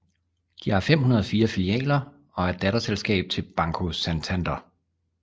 De har 504 filialer og er et datterselskab til Banco Santander